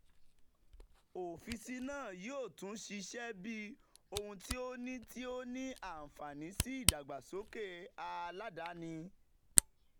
ọfiisi naa yoo tun ṣiṣẹ bi ohun ti o ni ti o ni anfani si idagbasoke aladani.